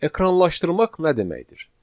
Ekranlaşdırmaq nə deməkdir?